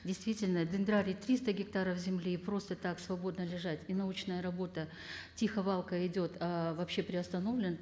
действительно дендрарий триста гектаров земли просто так свободно лежать и научная работа тихо валко идет ыыы вообще приостановлен